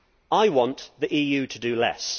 I want the EU to do less.